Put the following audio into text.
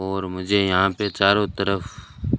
और मुझे यहां पे चारों तरफ--